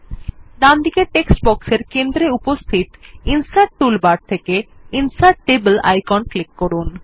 ডানদিকের text box এর কেন্দ্রে উপস্থিত ইনসার্ট টুলবার থেকে ইনসার্ট টেবল আইকন এ ক্লিক করুন